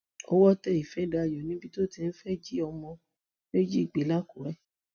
ọwọ tẹ ìfẹdàyò níbi tó ti fẹẹ jí ọmọ méjì gbé lákùrẹ